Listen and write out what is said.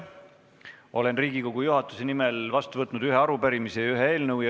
Olen Riigikogu juhatuse nimel vastu võtnud ühe arupärimise ja ühe eelnõu.